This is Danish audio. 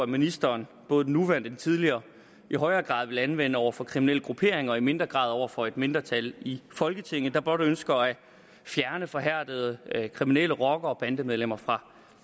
ministeren både den nuværende og den tidligere i højere grad ville anvende over for kriminelle grupperinger og i mindre grad over for et mindretal i folketinget der blot ønsker at fjerne forhærdede kriminelle rockere og bandemedlemmer fra